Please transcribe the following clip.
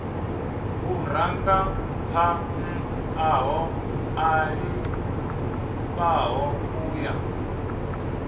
vhurangaphanḓa ho ṱalifhaho u ya